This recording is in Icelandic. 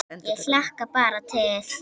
Ég hlakka bara til